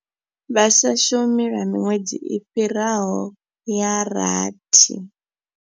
Vha sa shumi lwa miṅwedzi i fhiraho ya rathi.